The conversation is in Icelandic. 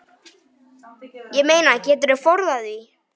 Ég meina, geturðu forðað því?